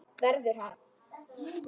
Verður hann.